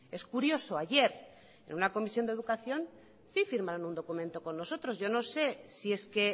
es curioso ayer en una comisión de educación sí firmaron un documento con nosotros yo no sé si es que